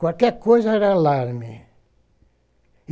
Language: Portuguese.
Qualquer coisa era alarme.